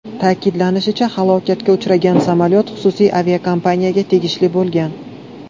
Ta’kidlanishicha, halokatga uchragan samolyot xususiy aviakompaniyaga tegishli bo‘lgan.